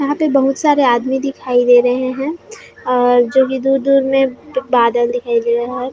यहाँ पे बहुत सारे आदमी दिखाई दे रहे हैं और जो की दूर-दूर मे बादल दिखाई दे रहे हैं।